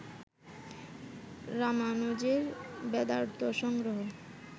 রামানুজের Vedarthasangraha